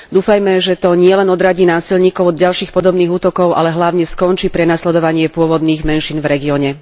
Dúfajme, že to nielen odradí násilníkov od ďalších podobných útokov, ale hlavne skončí prenasledovanie pôvodných menšín v regióne.